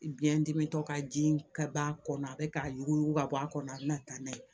Biyɛn dimi tɔ ka ji ka b'a kɔnɔ a bɛ k'a yuguyugu ka bɔ a kɔnɔ a bɛ na taa n'a ye